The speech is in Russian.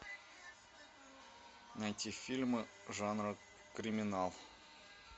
найти фильмы жанра криминал